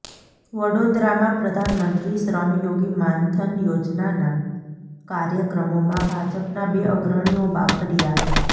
વડોદરામાં પ્રધાનમંત્રી શ્રમયોગી માનધન યોજનાના કાર્યક્રમમાં ભાજપના બે અગ્રણીઓ બાખડ્યા